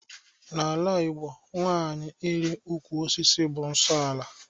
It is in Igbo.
N'ala Igbo, nwanyị ịli ụkwụ osisi bụ nsọ ala